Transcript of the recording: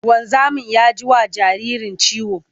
Wanzamin ya ji wa jaririn ciwo.